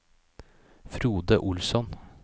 Frode Olsson